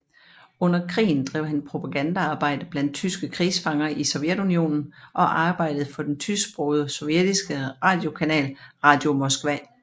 Under krigen drev han propagandaarbejde blandt tyske krigsfanger i Sovjetunionen og arbejdede for den tysksprogede sovjetiske radiokanal Radio Moskva